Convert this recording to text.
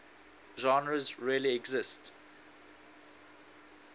genres really exist